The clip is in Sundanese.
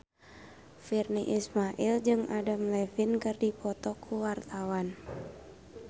Virnie Ismail jeung Adam Levine keur dipoto ku wartawan